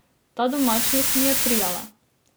Ta domačnost mi je prijala.